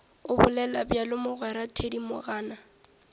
o bolela bjalo mogwera thedimogane